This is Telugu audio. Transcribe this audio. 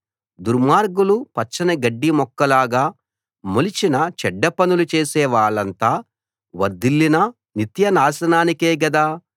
దుర్మార్గులు పచ్చని గడ్డి మొక్కల్లాగా మొలిచినా చెడ్డపనులు చేసే వాళ్ళంతా వర్ధిల్లినా నిత్యనాశనానికే గదా